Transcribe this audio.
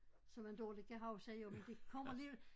Som man dårligt kan huske jo men det kommer alligevel